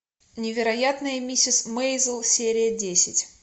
невероятная миссис мейзел серия десять